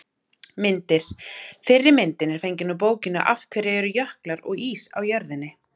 Myndir: Fyrri myndin er fengin úr bókinni Af hverju eru jöklar og ís á jörðinni?